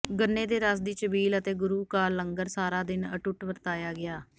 ਗੰਨੇ ਦੇ ਰਸ ਦੀ ਛਬੀਲ ਅਤੇ ਗੁਰੂ ਕਾ ਲੰਗਰ ਸਾਰਾ ਦਿਨ ਅਤੁੱਟ ਵਰਤਾਇਆ ਗਿਆ